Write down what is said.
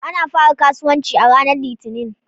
Ana fara kasuwanci a ranar Litinin.